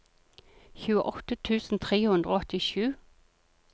tjueåtte tusen tre hundre og åttisju